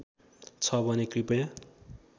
छ भने कृपया